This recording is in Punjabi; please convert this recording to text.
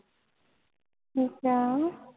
ਅੱਛਾ